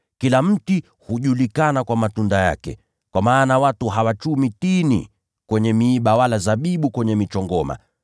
Kila mti hujulikana kwa matunda yake. Kwa maana watu hawachumi tini kwenye miiba, wala zabibu kwenye michongoma.